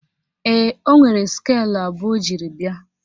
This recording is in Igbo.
Ee, ọ nwere skeelụ abụọ o jiri bịa